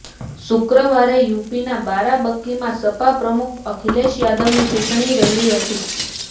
શુક્રવારે યૂપીના બારાંબકીમાં સપા પ્રમુખ અખિલેશ યાદવની ચૂંટણી રેલી હતી